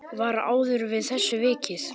Var áður að þessu vikið.